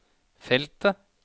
feltet